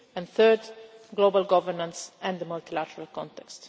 and third, global governance and the multilateral context.